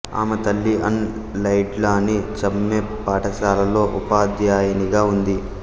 ఆమె తల్లి Ann Laidlaw née Chumney పాఠశాలలో ఉపాధ్యాయినిగా ఉంది